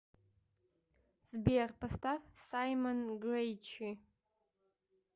сбер поставь саймон грэйчи